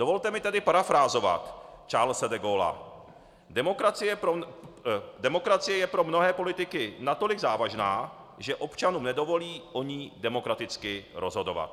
Dovolte mi tedy parafrázovat Charlese de Gaulla: "Demokracie je pro mnohé politiky natolik závažná, že občanům nedovolí o ní demokraticky rozhodovat."